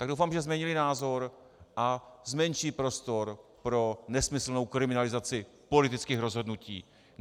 Tak doufám, že změnili názor a zmenší prostor pro nesmyslnou kriminalizaci politických rozhodnutí.